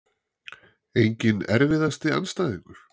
enginn Erfiðasti andstæðingur?